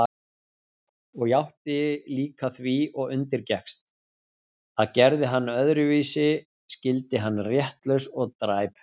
Og játti líka því og undirgekkst, að gerði hann öðruvísi skyldi hann réttlaus og dræpur.